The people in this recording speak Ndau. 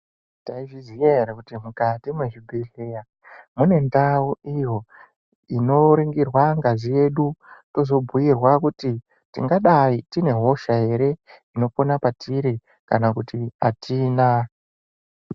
Taizviziya ere kuti mukati mwezvibhedhleya, mune ndau iyo, inoringirwa ngazi yedu, tozobhuirwa kuti, tingadai tine hosha here, inopona patiri, kana kuti atina.